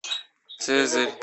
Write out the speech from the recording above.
цезарь